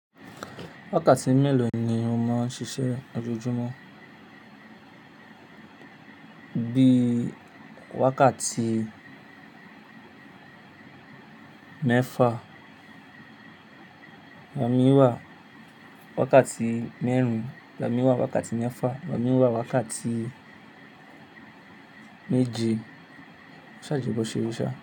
Wákàtí mélòó ni o máa ń ṣiṣẹ́ ojoojúmọ́? Bí i wákàtí mẹ́fa, lami wà. Wákàtí mẹ́rin, lami wà. Wákàtí mẹ́fa, lami wà. Wákàtí méje. Ṣàjìgbọ̀ ṣe òrìṣà.